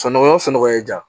Sunɔgɔ sunɔgɔ ye jan